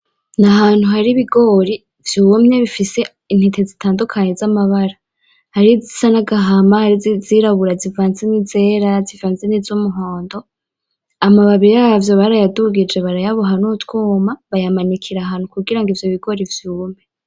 N'ahantu hari ibigori vyumye bifise intete z'itandukanye z'amabara harizisa n'agahama izirabura zivanze n'izera zivanze n'izumuhondo amababi yavyo barayadugije baraya boha n'utwuma banikira ahantu kugira ivyobigori vyume.